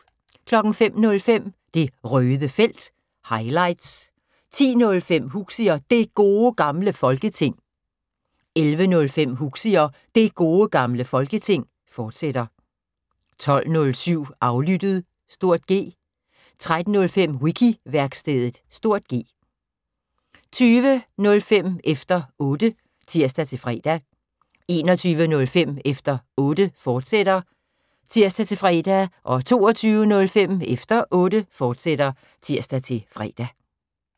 05:05: Det Røde Felt – highlights 10:05: Huxi og Det Gode Gamle Folketing 11:05: Huxi og Det Gode Gamle Folketing, fortsat 12:07: Aflyttet (G) 13:05: Wiki-værkstedet (G) 20:05: Efter Otte (tir-fre) 21:05: Efter Otte, fortsat (tir-fre) 22:05: Efter Otte, fortsat (tir-fre)